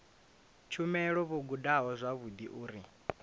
tshumelo vho gudaho zwavhudi uri